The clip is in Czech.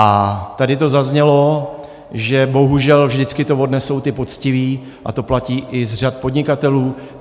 A tady to zaznělo, že bohužel vždycky to odnesou ti poctiví, a to platí i z řad podnikatelů.